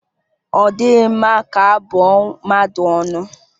Ọ dịghị mma ka abụ ọ mmadụ ọnụ